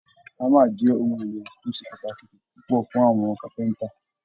Hámà jẹ́ ohun èlò tó ṣe pàtàkì púpọ̀ fún àwọn carpenter